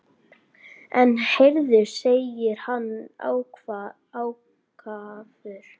En heyrðu, segir hann ákafur.